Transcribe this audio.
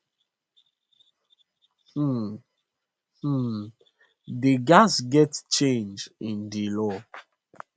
um um dia gatz get change in di law